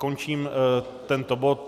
Končím tento bod.